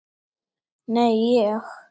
Nei, ég.